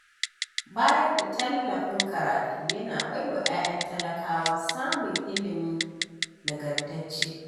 Bayar da tallafin karatu, yana baiwa 'ya'yan talakawa samun ilimi nagartacce.